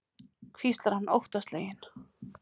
hvíslar hann óttasleginn.